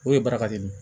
O ye baraka de ye